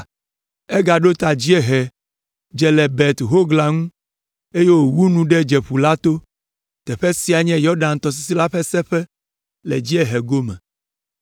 Egaɖo ta dziehe, dze le Bet Hogla ŋu, eye wòwu nu ɖe Dzeƒu la to. Teƒe siae nye Yɔdan tɔsisi la ƒe seƒe le dziehe gome.